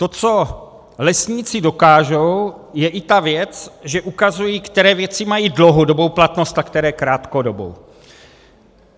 To, co lesníci dokážou, je i ta věc, že ukazují, které věci mají dlouhodobou platnost a které krátkodobou.